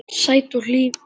Sæt og hlý.